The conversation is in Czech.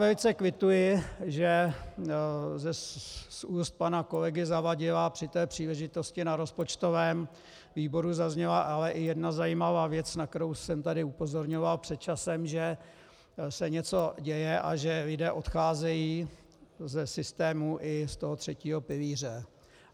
Velice kvituji, že z úst pana kolegy Zavadila při té příležitosti na rozpočtovém výboru zazněla ale i jedna zajímavá věc, na kterou jsem tady upozorňoval před časem, že se něco děje a že lidé odcházejí ze systému i z toho třetího pilíře.